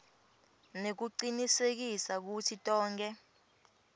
nekucinisekisa kutsi tonkhe